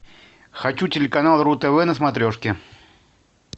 хочу телеканал ру тв на смотрешке